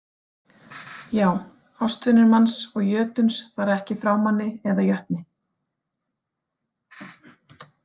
Já, ástvinir manns og jötuns fara ekki frá manni eða jötni.